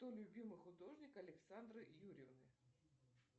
кто любимый художник александры юрьевны